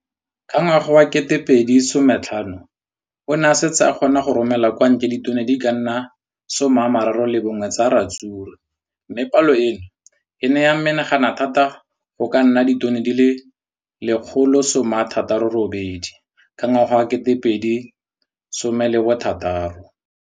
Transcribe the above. Ka ngwaga wa 2015, o ne a setse a kgona go romela kwa ntle ditone di le 31 tsa ratsuru mme palo eno e ne ya menagana thata go ka nna ditone di le 168 ka ngwaga wa 2016.